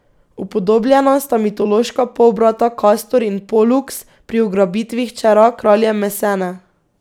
Upodobljena sta mitološka polbrata Kastor in Poluks pri ugrabitvi hčera kralja Mesene.